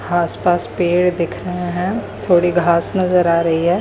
आस-पास पेड़ दिख रहे हैं थोड़ी घास नजर आ रही है।